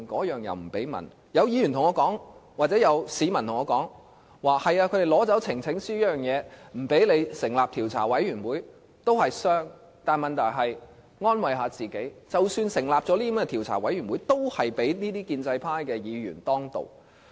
有市民告訴我，如果他們不讓我們透過提交呈請書成立調查委員會，雖然也會造成傷害，但可以安慰自己，即使成立了調查委員會，也會被建制派議員當道。